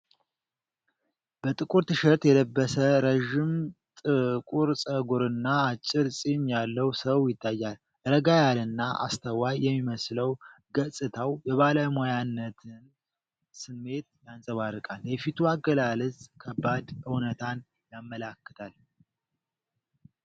በጥቁር ቲሸርት የለበሰ ረዥም ጥቁር ፀጉርና አጭር ፂም ያለው ሰው ይታያል። ረጋ ያለና አስተዋይ የሚመስለው ገፅታው የባለሙያነትን ስሜት ያንፀባርቃል። የፊቱ አገላለፅ ከባድ እውነታን ያመላክታል።